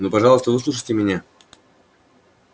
ну пожалуйста выслушайте меня